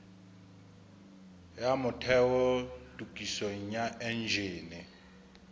ya motheo tokisong ya enjene